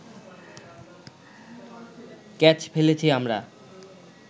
catch ফেলেছি আমরা